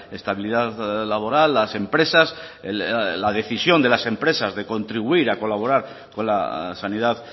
estabilidad laboral las empresas la decisión de las empresas de contribuir a colaborar con la sanidad